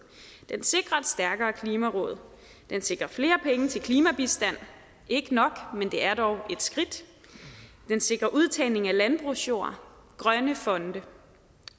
den sikrer et stærkere klimaråd den sikrer flere penge til klimabistand ikke nok men det er dog et skridt den sikrer udtagning af landbrugsjord grønne fonde